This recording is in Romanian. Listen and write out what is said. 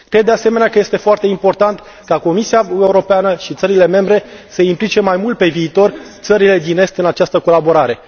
Cred, de asemenea, că este foarte important ca Comisia, Uniunea Europeană și țările membre să implice mai mult pe viitor țările din est în această colaborare.